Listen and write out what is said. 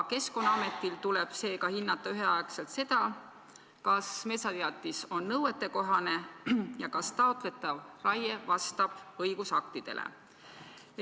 Keskkonnaametil tuleb seega hinnata üheaegselt seda, kas metsateatis on nõuetekohane ja kas taotletav raie vastab õigusaktidele.